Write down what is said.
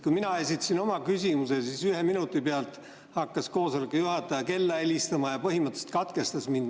Kui mina esitasin oma küsimuse, siis ühe minuti pealt hakkas koosoleku juhataja kella helistama ja põhimõtteliselt katkestas mind.